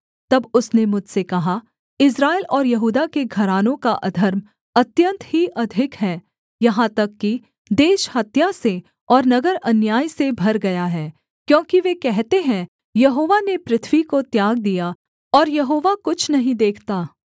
तब उसने मुझसे कहा इस्राएल और यहूदा के घरानों का अधर्म अत्यन्त ही अधिक है यहाँ तक कि देश हत्या से और नगर अन्याय से भर गया है क्योंकि वे कहते है यहोवा ने पृथ्वी को त्याग दिया और यहोवा कुछ नहीं देखता